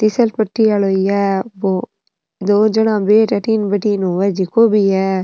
घिसल पट्टी वाला ये दो जना बैठ अठीने बैठीं होय जिको भी है।